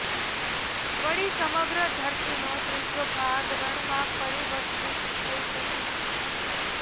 વળી સમગ્ર ધરતીનો ત્રીજો ભાગ રણમાં પરિવર્તિત થઇ જશે